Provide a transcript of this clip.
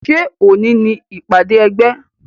Ṣé òní ni ìpàdé ẹgbẹ́?